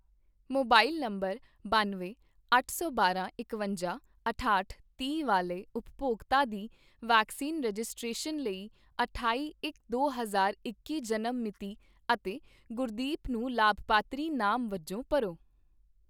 Mobile number ਬੰਨਵੇਂ, ਅੱਠ ਸੌ ਬਾਰਾਂ, ਇਕਵੰਜਾ, ਅਠਾਹਠ, ਤੀਹ ਵਾਲੇ ਉਪਭੋਗਤਾ ਦੀ ਵੈਕਸੀਨ ਰਜਿਸਟ੍ਰੇਸ਼ਨ ਲਈ ਅਠਾਈ ਇਕ ਦੋ ਹਜ਼ਾਰ ਇੱਕੀ ਜਨਮ ਮਿਤੀ ਅਤੇ ਗੁਰਦੀਪ ਨੂੰ ਲਾਭਪਾਤਰੀ ਨਾਮ ਵਜੋਂ ਭਰੋ।